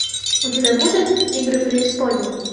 у тебя будет игры преисподней